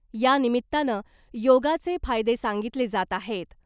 यानिमित्तानं योगाचे फायदे सांगितले जात आहेत .